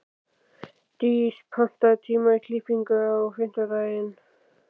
Dís, pantaðu tíma í klippingu á fimmtudaginn.